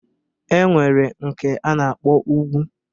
E nwere nke a na-akpọ ugwu